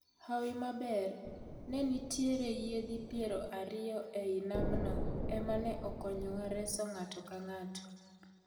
Hawi maber ne nitiere yiedhi piero ariyo ei namno ema ne okonyowa reso ng'ato ka ng'ato.